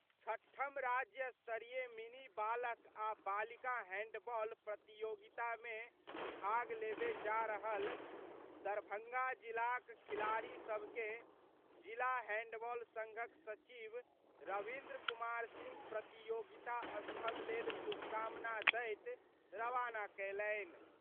छठम राज्य स्तरीय मिनी बालक आ बालिका हैंडबॉल प्रतियोगितामे भाग लेबय जा रहल दरभंगा जिलाक खिलाड़ी सभ के जिला हैंडबॉल संघक सचिव रविंद्र कुमार सिंह प्रतियोगिता स्थल लेल शुभकामना दैत रवाना कयलन्हि।